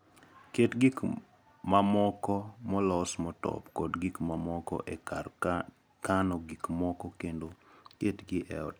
Ket gik mamoko molos motop kod gik mamoko e kar kano gik moko kendo ketgi e otas.